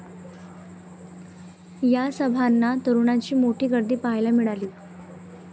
या सभांना तरुणांची मोठी गर्दी पाहायला मिळाली.